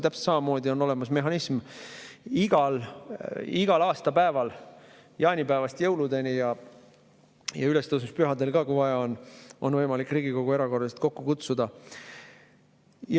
Täpselt samamoodi on olemas mehhanism aasta igal päeval, jaanipäevast jõuludeni ja ülestõusmispühadel ka, kui vaja on, on võimalik Riigikogu erakorraliselt kokku kutsuda.